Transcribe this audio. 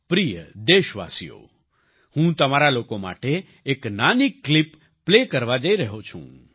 પ્રિય દેશવાસીઓ હું તમારા લોકો માટે એક નાની ક્લિપ પ્લે કરવા જઈ રહ્યો છું